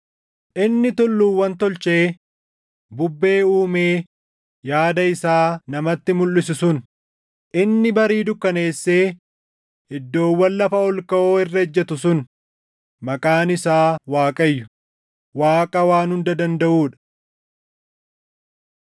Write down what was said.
Inni tulluuwwan tolchee bubbee uumee yaada isaa namatti mulʼisu sun, inni barii dukkaneessee iddoowwan lafa ol kaʼoo irra ejjetu sun, maqaan isaa Waaqayyo, // Waaqa Waan Hunda Dandaʼuu dha.